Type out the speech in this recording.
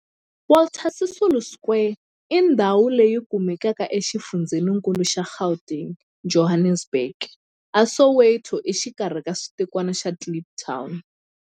Walter Sisulu Square i ndhawu leyi kumekaka exifundzheni-nkulu xa Gauteng, Johannesburg, a Soweto, exikarhi ka xitikwana xa Kliptown.